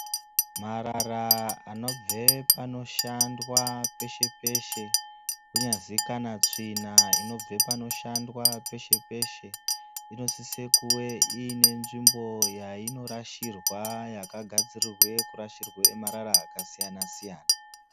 Marara anobve panoshandwa peshe peshe kunyazi kana tsvina inobve panoshandwa peshe peshe inosise kuve iine nzvimbo yainorashirwa yakagadzirirwe kurashirwa marara akasiyana siyana.